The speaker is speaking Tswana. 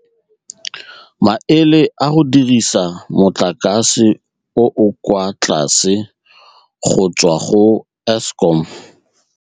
Maele a go dirisa mo lakase o o kwa tlase go tswa go Eskom.